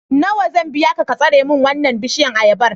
Nawa zan biya ka ka sare min wannan bishiyar ayabar?